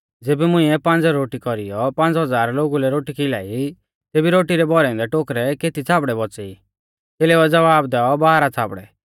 ज़ेबी मुंइऐ पांज़ रोटी कौरीयौ पांज़ हज़ार लोगु लै रोटी खिलाई तेबी रोटी रै भौरै औन्दै केती छ़ाबड़ै बौच़ै ई च़ेलेउऐ ज़वाब दैऔ बारह छ़ाबड़ै